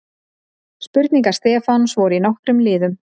Spurningar Stefáns voru í nokkrum liðum.